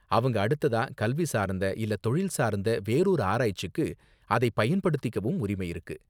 அவங்க அடுத்ததா கல்வி சார்ந்த இல்ல தொழில் சார்ந்த வேறறொரு ஆராய்ச்சிக்கு அதை பயன்படுத்திக்கவும் உரிமை இருக்கு.